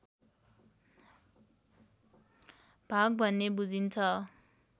भाग भन्ने बुझिन्छ